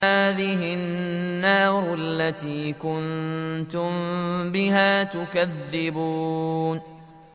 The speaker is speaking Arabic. هَٰذِهِ النَّارُ الَّتِي كُنتُم بِهَا تُكَذِّبُونَ